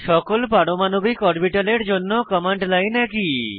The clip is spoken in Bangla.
সকল পারমাণবিক অরবিটালের জন্য কমান্ড লাইন একই